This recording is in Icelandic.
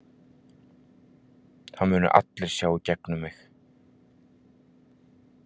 Það munu allir sjá í gegnum mig.